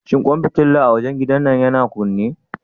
Shin kwan fitila a wajen gidan yana kunne?